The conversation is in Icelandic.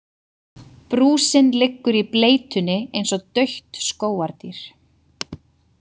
Brúsinn liggur í bleytunni eins og dautt skógardýr.